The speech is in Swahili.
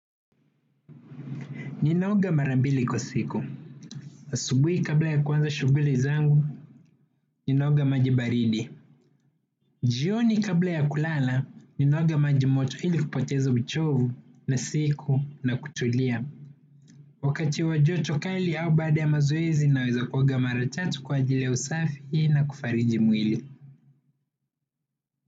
Ninaoga mara mbili kwa siku. Asubuhi kabla ya kuanza shughuli zangu. Ninaoga maji baridi. Jioni kabla ya kulala. Ninaoga majimoto ili kupoteza uchovu na siku na kutulia. Wakati wa joto kali au baada ya mazoezi. Naweza kuoga mara tatu kwa ajili ya usafi na kufariji mwili.